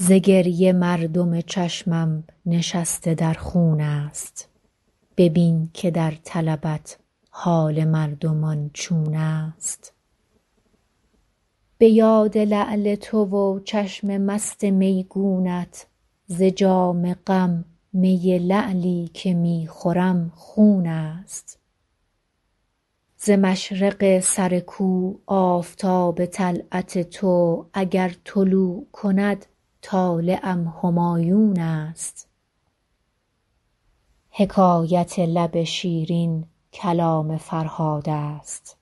ز گریه مردم چشمم نشسته در خون است ببین که در طلبت حال مردمان چون است به یاد لعل تو و چشم مست میگونت ز جام غم می لعلی که می خورم خون است ز مشرق سر کو آفتاب طلعت تو اگر طلوع کند طالعم همایون است حکایت لب شیرین کلام فرهاد است